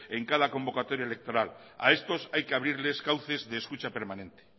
en cada convocatoria electoral a estos hay que abrirles cauces de escucha permanente